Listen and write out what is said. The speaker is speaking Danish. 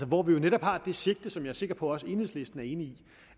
hvor vi jo netop har det sigte som jeg er sikker på også enhedslisten er enig i